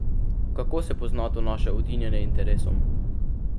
Kako se pozna to naše udinjanje interesom?